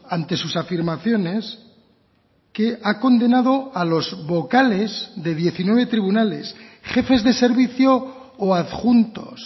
ante sus afirmaciones que ha condenado a los vocales de diecinueve tribunales jefes de servicio o adjuntos